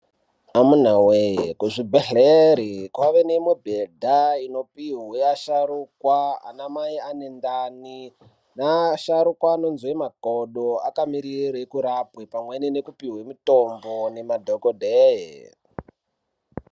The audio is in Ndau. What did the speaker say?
Amunaa wee kuzvibhedhleri kwaanemibhedha inopiwa asharukwa anamai ane ndani neasharuka anozwe makodo akamirire kurapwe pamweni nekupiwe mutombo nemadhokodhee.